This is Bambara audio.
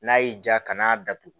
N'a y'i diya kana a datugu